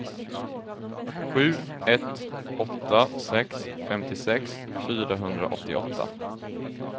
sju ett åtta sex femtiosex fyrahundraåttioåtta